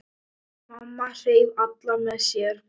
Mamma hreif alla með sér.